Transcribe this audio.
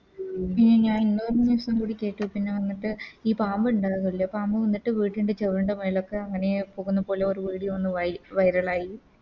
ഉം പിന്നെ ഞാനീ ഇന്നൊരു News ഉം കൂടി കേട്ടു പിന്നെ വന്നിട്ട് ഈ പാമ്പ് ഇണ്ടാവല്ലേ പാമ്പ് വന്നിട്ട് വീട്ടിൻറെ ചോമരിൻറെ മേലൊക്കെ അങ്ങനെ പോകുന്ന പോലെ ഒരു Video ഒന്ന് Viral ആയി